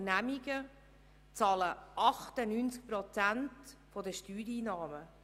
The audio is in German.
Bern bezahlen 98 Prozent der Steuereinnahmen.